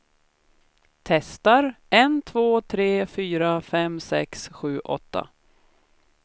Testar en två tre fyra fem sex sju åtta.